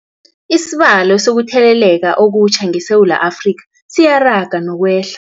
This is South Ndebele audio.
Isibalo sokuthele leka okutjha ngeSewula Afrika siyaraga nokwehla.